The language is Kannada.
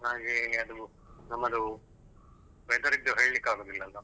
ಹಾಗೆ ಅದು ನಮ್ಮದು weather ದ್ದು ಹೇಳ್ಲಿಕ್ಕೆ ಆಗುದಿಲ್ಲ ಅಲ್ಲ.